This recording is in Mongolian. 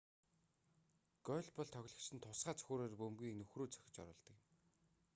гольф бол тоглогчид нь тусгай цохиураар бөмбөгийг нүхрүү цохиж оруулдаг тоглоом юм